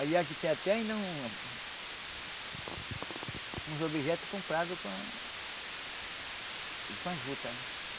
Aliás, tem até ainda um uns objetos comprados com a com a juta.